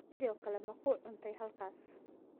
Sidoo kale ma ku cuntay halkaas?